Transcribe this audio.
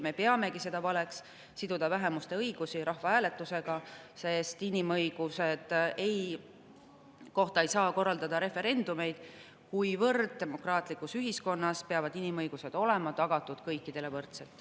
Me peamegi valeks siduda vähemuste õigusi rahvahääletusega, sest inimõiguste kohta ei saa korraldada referendumeid, kuivõrd demokraatlikus ühiskonnas peavad inimõigused olema tagatud kõikidele võrdselt.